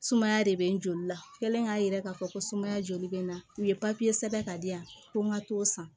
Sumaya de bɛ n joli la kelen k'a jira k'a fɔ ko sumaya joli bɛ na u ye sɛbɛn ka di yan ko n ka t'o san